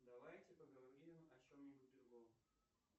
давайте поговорим о чем нибудь другом